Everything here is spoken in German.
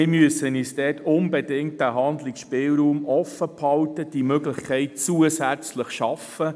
Wir müssen uns diesen Handlungsspielraum offenhalten und diese Möglichkeit zusätzlich schaffen.